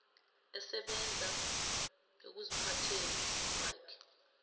esebenza ekuziphatheni kwakhe